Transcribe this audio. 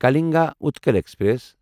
Kalinga Utkal express